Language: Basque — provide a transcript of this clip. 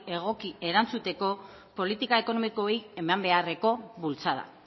egoki erantzuteko politika ekonomikoei eman beharreko bultzada